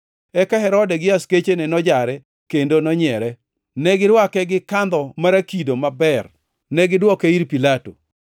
Eka Herode gi askechene nojare kendo nonyiere. Negirwake gi kandho marakido maber, negidwoke ir Pilato.